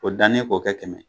O dannen k'o kɛ kɛmɛ ye.